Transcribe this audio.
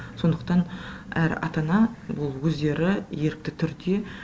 сондықтан әр ата ана болу өздері ерікті түрде